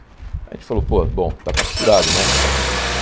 Aí a gente falou, pô, bom, está capturado, né?